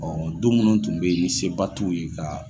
Ɔ dɔw munnu tun bɛ yen ni se ba tuw ye ka.